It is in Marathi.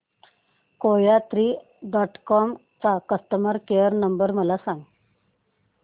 कोयात्री डॉट कॉम चा कस्टमर केअर नंबर मला सांगा